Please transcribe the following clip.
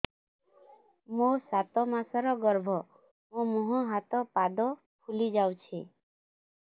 ମୋ ସାତ ମାସର ଗର୍ଭ ମୋ ମୁହଁ ହାତ ପାଦ ଫୁଲି ଯାଉଛି